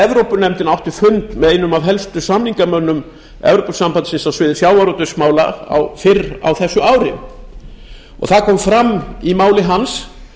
evrópunefndin átti fund með einum af helstu samningamönnum evrópusambandsins á sviði sjávarútvegsmála fyrr á þessu ári það kom fram í máli hans